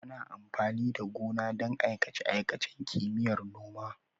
Ana amfani da gona don aikace-aikacen Kimiyyar Noma.